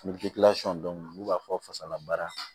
dɔnku n'u b'a fɔ fasalabaara